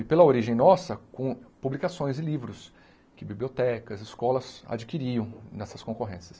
E pela origem nossa, com publicações e livros que bibliotecas, escolas adquiriam nessas concorrências.